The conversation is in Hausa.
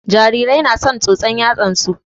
Jarirai na son tsotsan yatsan su